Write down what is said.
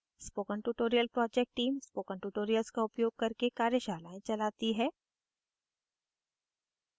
spoken tutorial project team spoken tutorials का उपयोग करके कार्यशालाएं चलाती है